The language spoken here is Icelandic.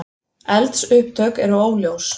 Eldsupptök eru óljós